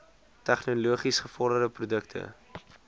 tegnologies gevorderde produkte